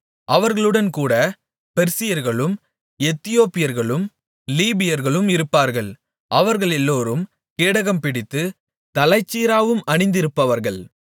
அவர்களுடன் கூட பெர்சியர்களும் எத்தியோப்பியர்களும் லீபியர்களும் இருப்பார்கள் அவர்களெல்லோரும் கேடகம்பிடித்து தலைச்சீராவும் அணிந்திருப்பவர்கள்